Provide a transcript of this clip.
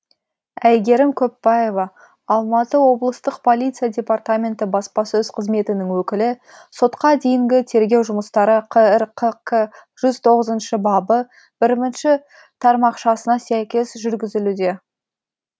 әйгерім көппаева алматы облыстық полиция департаменті баспасөз қызметінің өкілі сотқа дейінгі тергеу жұмыстары қр қк жүз тоғызыншы бабы бірімінші тармақшасына сәйкес жүргізілуде